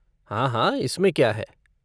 हाँ हाँ! इसमें क्या है।